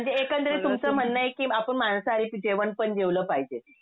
म्हणजे एकंदरीत तुमचं म्हणणं आहे कि आपण मांसाहारी जेवणपण जेवलं पाहिजे.